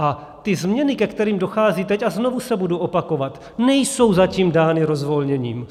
A ty změny, ke kterým dochází teď, a znovu se budu opakovat, nejsou zatím dány rozvolněním.